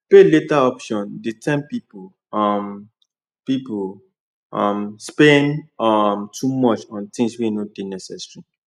pay later option dey tempt people um people um spend um too much on things wey no dey necessary